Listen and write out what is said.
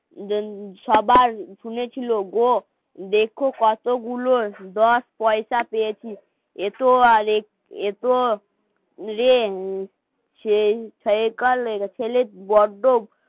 সবার শুনেছিল গো দেখো কতগুলো দশ পয়সা পেয়েছি এসো আর বড্ড